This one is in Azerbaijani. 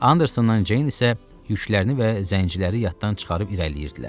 Andersonla Ceyn isə yüklərini və zəngçiləri yaddan çıxarıb irəliləyirdilər.